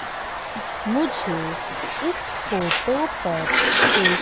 मुझे इस फोटो पर एक--